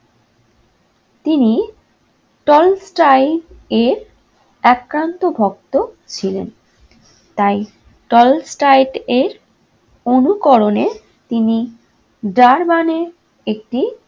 তিনি এর একান্ত ভক্ত ছিলেন। তাই এর অনুকরণে তিনি জার্মানে একটি